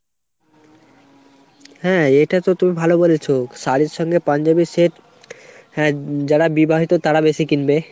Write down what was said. হ্যাঁ এটাতো তুমি ভালো বলেছো, শাড়ীর সঙ্গে পাঞ্জাবি set। হ্যাঁ যারা বিবাহিত তারা বেশি কিনবে।